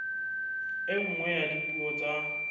e nngwe ya dipuo tsa